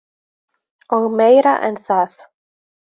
Og meira en það.